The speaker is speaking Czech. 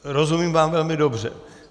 Rozumím vám velmi dobře.